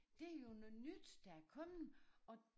Det jo noget nyt der er kommen og